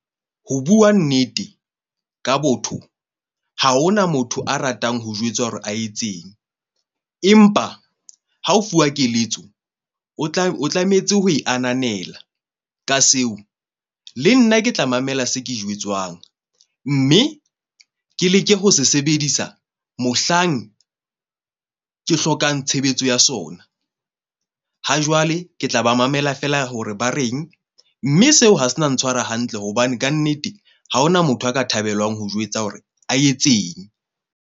Ho bua nnete ka botho, ha hona motho a ratang ho jwetsa hore a etseng. Empa ha o fuwa keletso, o o tlametse ho e ananela ka seo. Le nna ke tla mamela se ke jwetswang. Mme ke leke ho se sebedisa mohlang ke hlokang tshebetso ya sona. Ha jwale ke tla ba mamela feela hore ba reng. Mme seo ha se na ntshwara hantle hobane kannete ha hona motho a ka thabelwang ho jwetsa hore a etseng.